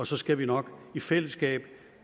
så skal vi nok i fællesskab